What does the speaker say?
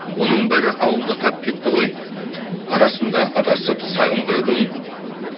оның бәрі ауылда қалып кетті ғой арасында адасып сағым қырдың